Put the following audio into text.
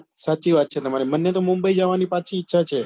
સાચી વાત છે તમારી મને તો મુંબઈ જવાની પાછી ઈચ્છા છે.